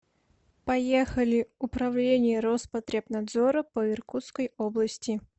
поехали управление роспотребнадзора по иркутской области